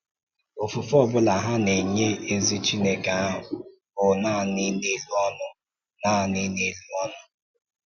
Òfùfé ọ bụla ha na-enye ezi Chineke ahụ bụ nanị n’elu ọnụ. nanị n’elu ọnụ.